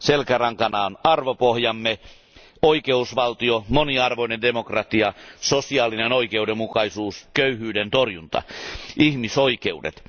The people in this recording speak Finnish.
Selkärankana on arvopohjamme oikeusvaltio, moniarvoinen demokratia, sosiaalinen oikeudenmukaisuus, köyhyyden torjunta sekä ihmisoikeudet.